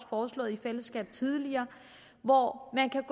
foreslået i fællesskab tidligere hvor man kan